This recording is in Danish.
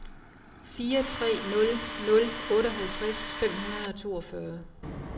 fire tre nul nul otteoghalvtreds fem hundrede og toogfyrre